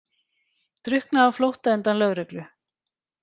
Drukknaði á flótta undan lögreglu